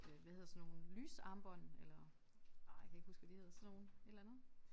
Øh hvad hedder sådan nogle lysarmbånd eller ej jeg kan ikke huske hvad de hedder sådan nogle et eller andet